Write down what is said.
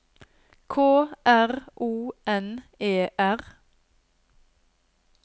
K R O N E R